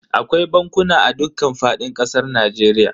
Akwai bankuna a dukkan fadin kasar Najeriya.